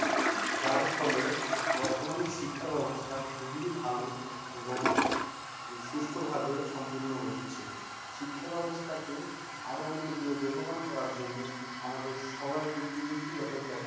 যার ফলে বর্তমানে শিক্ষা ব্যাবস্থা খুবই ভালো এবং সুষ্ঠুভাবে সম্পূর্ণ হচ্ছে শিক্ষা ব্যাবস্থাকে আরো উন্নতি ও বেগবান করার জন্য আমাদের সবাইকে প্রযুক্তিগত